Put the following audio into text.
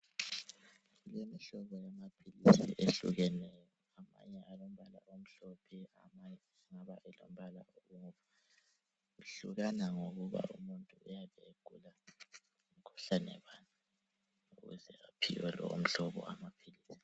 Imihlobo yamapills ehlukeneyo amanye alombala umhlophe amanye engabe elombala omnyama kuhlakana ngokububa umuntu uyabe egula mkhuhlane bani kwesinye isikhathi usengaphiwa lowu umhlobo wamapills